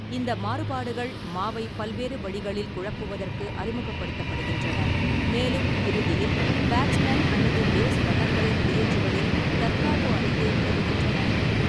இந்த மாறுபாடுகள் மாவை பல்வேறு வழிகளில் குழப்புவதற்கு அறிமுகப்படுத்தப்படுகின்றன, மேலும் இறுதியில் பேட்ஸ்மேன் அல்லது பேஸ் ரன்னர்களை வெளியேற்றுவதில் தற்காப்பு அணிக்கு உதவுகின்றன.